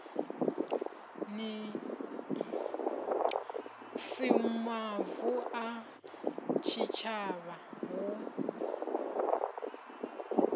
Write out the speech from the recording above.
si mavu a tshitshavha hu